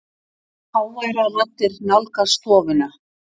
Háværar raddir nálgast stofuna.